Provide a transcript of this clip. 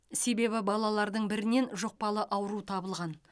себебі балалардың бірінен жұқпалы ауру табылған